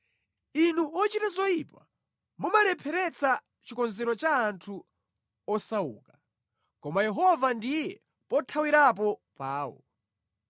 Inu ochita zoyipa mumalepheretsa chikonzero cha anthu osauka, koma Yehova ndiye pothawirapo pawo.